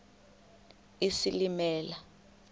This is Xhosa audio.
isilimela